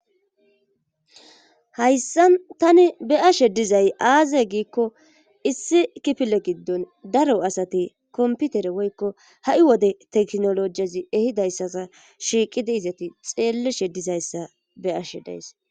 Hayssa tani be'ashe dizay aaze giikko issi kipile giddon daro asati komputere woykko ha7i wode teknolojiyezi ehidayssaa shiiqidi izati xeeleshe dizayssa beashe dayse.